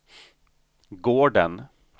gården